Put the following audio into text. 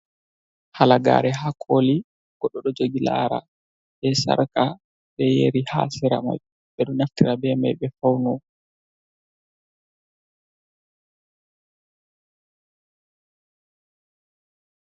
Halagare ha koli goɗɗo ɗo jogi lara, be sharka, be yeri ha sera majum, ɓeɗo naftira be mai ɓe fawno.